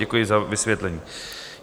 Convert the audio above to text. Děkuju za vysvětlení.